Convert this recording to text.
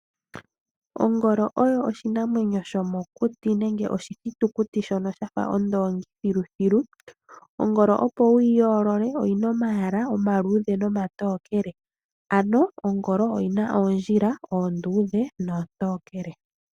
Ongolo oyo oshinamwenyo shomokuti nenge oshithitukuti shono sha fa oondongili thilu thilu. Ongolo opo wu yi yoolole, oyi na omayala omaluudhe nomatokele, ano ongolo oyi na oondjila oonduudhe noontokele.